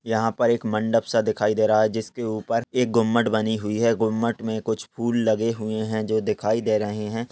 यहा पर एक मंडप सा दिखाई दे रहा है जिसके ऊपर एक गुम्मट बनी हुई है गुम्मट मे कुछ फूल लगे हुए है जो दिखाई दे रहे है।